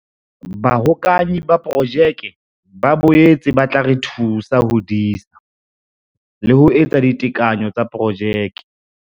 Bahokahanyi ba Projeke ba boetse ba tla re thusa ho disa le ho etsa ditekanyo tsa projeke.